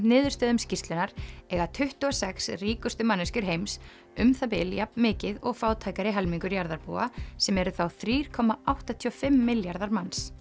niðurstöðum skýrslunnar eiga tuttugu og sex ríkustu manneskjur heims um það bil jafn mikið og fátækari helmingur jarðarbúa sem eru þá þrjú komma áttatíu og fimm milljarðar manns